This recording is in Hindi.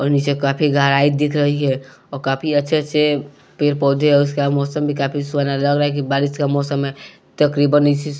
और नीचे काफी गहराई दिख रही है और काफी अच्छे-अच्छे पेड़ पौधे उसका मौसम भी काफी सुना लग रहा है कि बारिश का मौसम है तकरीबन इस--